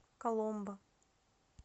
коломбо